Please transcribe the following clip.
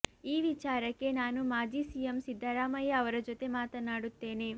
ಈ ವಿಚಾರಕ್ಕೆ ನಾನು ಮಾಜಿ ಸಿಎಂ ಸಿದ್ದರಾಮಯ್ಯ ಅವರ ಜೊತೆ ಮಾತನಾಡುತ್ತೇನೆ